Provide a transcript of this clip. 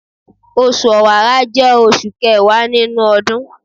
Osù Ọ̀wààrà jẹ́ oṣù kẹwàá nínú ọdún